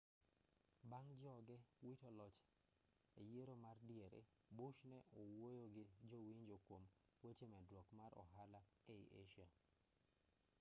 bang' joge wito loch e yiero ma diere bush ne owuoyo gi jo-winjo kuom weche medruok mar ohala ei asia